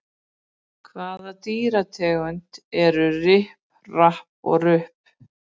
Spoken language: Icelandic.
Hvaða dýrategund eru Ripp, Rapp og Rupp?